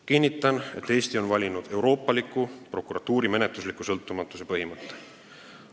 Kinnitan, et Eesti on valinud euroopaliku prokuratuuri menetlusliku sõltumatuse põhimõtte.